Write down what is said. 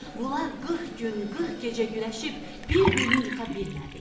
Bunlar 40 gün, 40 gecə güləşib bir-birini yıxa bilmədilər.